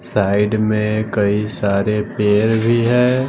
Side में कई सारे पेड़ भी है।